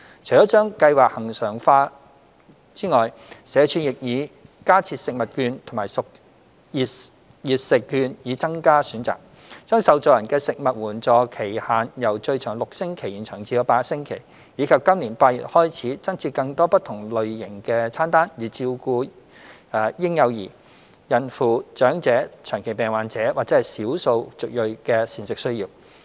除了將計劃恆常化外，社署亦已加設食物券及熱食券以增加選擇；將受助人的食物援助期限由最長6星期延長至8星期；及在今年8月開始，增設更多不同類型的餐單，以照顧嬰幼兒、孕婦、長者、長期病患者及少數族裔的膳食需要。